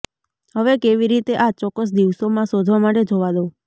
હવે કેવી રીતે આ ચોક્કસ દિવસોમાં શોધવા માટે જોવા દો